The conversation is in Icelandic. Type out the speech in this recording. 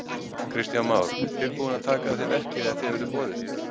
Kristján Már: Tilbúin að taka að þér verkið ef þér verður boðið?